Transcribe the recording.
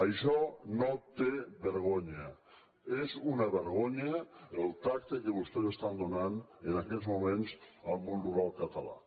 això no té vergonya és una vergonya el tracte que vostès estan donant en aquests moments al món rural català